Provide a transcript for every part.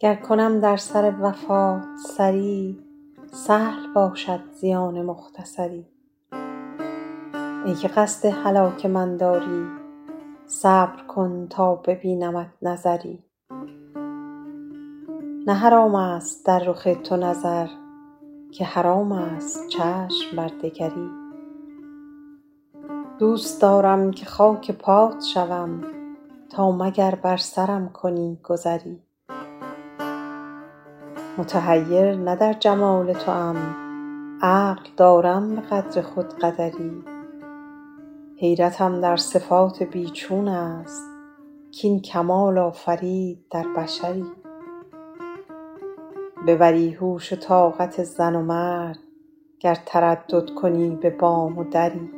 گر کنم در سر وفات سری سهل باشد زیان مختصری ای که قصد هلاک من داری صبر کن تا ببینمت نظری نه حرام است در رخ تو نظر که حرام است چشم بر دگری دوست دارم که خاک پات شوم تا مگر بر سرم کنی گذری متحیر نه در جمال توام عقل دارم به قدر خود قدری حیرتم در صفات بی چون است کاین کمال آفرید در بشری ببری هوش و طاقت زن و مرد گر تردد کنی به بام و دری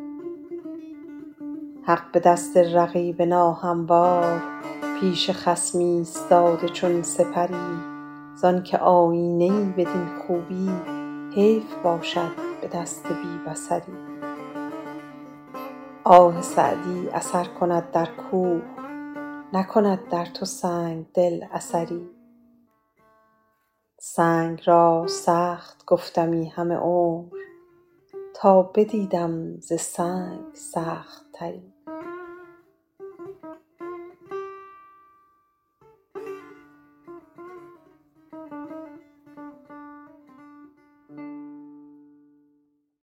حق به دست رقیب ناهموار پیش خصم ایستاده چون سپری زان که آیینه ای بدین خوبی حیف باشد به دست بی بصری آه سعدی اثر کند در کوه نکند در تو سنگ دل اثری سنگ را سخت گفتمی همه عمر تا بدیدم ز سنگ سخت تری